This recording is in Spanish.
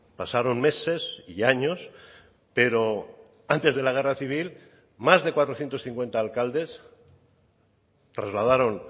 pasaron meses y años pero antes de la guerra civil más de cuatrocientos cincuenta alcaldes trasladaron